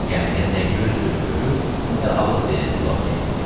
Lakin gəmidə nə göz gözü görür, nə də ağız deyəni qulaq eşidirdi.